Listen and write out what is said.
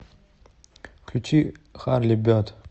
включи харли берд